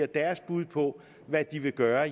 deres bud på hvad de vil gøre